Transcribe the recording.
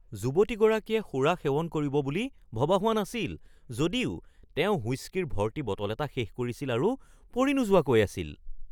যুৱতীগৰাকীয়ে সুৰা সেৱন কৰিব বুলি ভবা হোৱা নাছিল যদিও তেওঁ হুইস্কিৰ ভৰ্তি বটল এটা শেষ কৰিছিল আৰু পৰি নোযোৱাকৈ আছিল।